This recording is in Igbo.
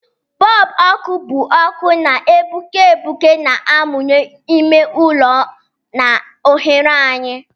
Bọlbụ ọkụ bụ ọkụ na-egbuke egbuke na-amụnye ime ụlọ na oghere anyị.